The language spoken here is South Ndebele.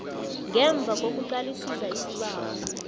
ngemva kokuqalisisa isibawo